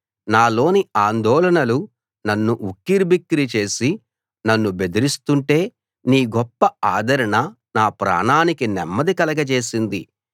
నా లోని ఆందోళనలు నన్ను ఉక్కిరిబిక్కిరి చేసి నన్ను బెదిరిస్తుంటే నీ గొప్ప ఆదరణ నా ప్రాణానికి నెమ్మది కలగచేసింది